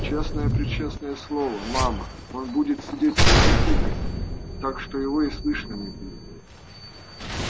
честное-пречестное слово мама он будет сидеть тихо-тихо так что его и слышно не будет